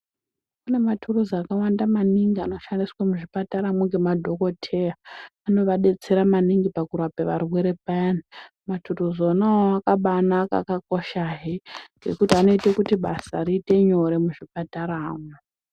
Kune mathuruzi akawanda maningi anoshandiswa muzvipataramwo ngemadhokotheya. Anovadetsera maningi pakurape varwere payani. Mathuruzi ona awawo akabaanaka, akakoshahe ngekuti anoite kuti basa riite nyore muzvipataramwo.